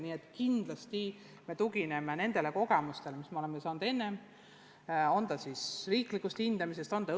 Nii et kindlasti me tugineme nendele kogemustele, mis me oleme varem saanud kas siis riikliku hindamisega või mujalt.